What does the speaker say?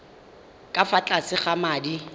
ka fa tlase ga madi